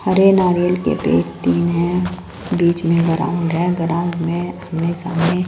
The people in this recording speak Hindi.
हरे नारियल के पेड़ तीन है बीच में ग्राउंड है ग्राउंड में आमने सामने--